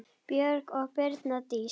Björk og Brynja Dís.